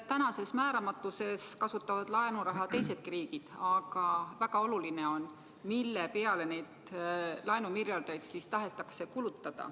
Tänases määramatuses kasutavad laenuraha teisedki riigid, aga väga oluline on see, mille peale neid laenumiljardeid kulutada tahetakse.